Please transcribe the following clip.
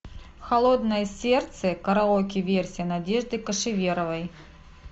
холодное сердце караоке версия надежды кошеверовой